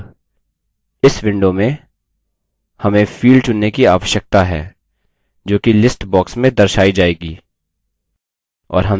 अब इस window में हमें field चुनने की आवश्यकता है जोकि list box में दर्शाई जाएगी